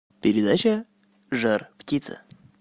передача жар птица